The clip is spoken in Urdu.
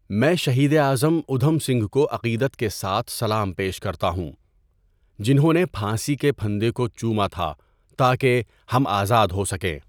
میں شہید اعظم ادھم سنگھ کو عقیدت کے ساتھ سلام پیش کرتا ہوں جنہوں نے پھانسی کے پھندے کو چوما تھا تاکہ ہم آزاد ہوسکیں۔